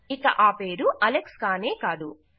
ఇక ఆ పేరు అలెక్స్ కానే కాదు